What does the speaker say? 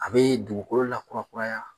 A bɛ dugukolo lakurakuraya